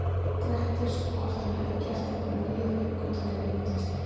Grettis, og hvort hann hefði gert einhverjar nýjar uppgötvanir í myndlistinni.